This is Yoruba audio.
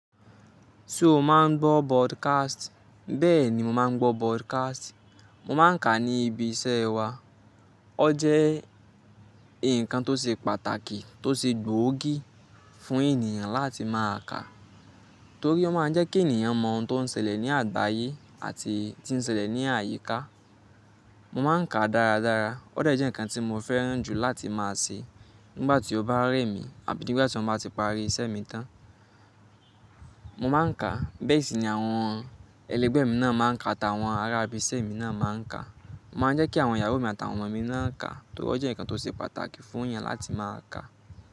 Ṣé o má ń gbọ́ broadcast? Bẹ́ẹ̀ni, mo má ń gbọ́ broadcast. Mo má ń ká ní ibi iṣẹ́ wa. Ó jẹ́ ǹkan tó ṣe pàtàkì tó ṣe gbòógì fún ènìyàn láti máa ká, torí ó má ń jẹ́ kí ènìyàn mọ ohun tó ń ṣẹlẹ̀ ní àgbáyé àti tí ń ṣẹlẹ̀ ní àyíká. Mo má ń kà dáradára. Ó de jẹ́ ǹkan tí mo fẹ́ràn jù láti máa ṣe nígbà tí ó bá ré mi àbí nígbà tí mo bá ti parí iṣẹ́ mi tán. Mo má ń kàa. Bẹ́ẹ̀ sì ni àwọn ẹlẹgbẹ́ mi náà má ń kà àtàwọn ará ibi iṣẹ́ mi náà má ń kà. Mo má ń jẹ́ kí àwọn ìyàwó mi àtàwọn ọmọ mi náà ká torí ó jẹ́ ǹkan tó ṣe pàtàkì fún èeyàn láti máa ká.